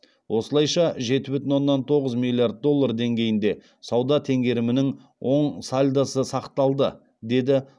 осылайша жеті бүтін оннан тоғыз миллиард доллар деңгейінде сауда теңгерімінің оң сальдосы сақталды деді